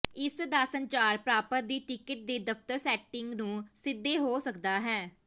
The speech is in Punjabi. ਇਸ ਦਾ ਸੰਚਾਰ ਪ੍ਰਾਪਤ ਦੀ ਟਿਕਟ ਦੇ ਦਫ਼ਤਰ ਸੈਟਿੰਗ ਨੂੰ ਸਿੱਧੇ ਹੋ ਸਕਦਾ ਹੈ